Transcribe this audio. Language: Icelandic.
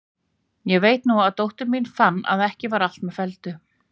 Ég veit nú að dóttir mín fann að ekki var allt með felldu.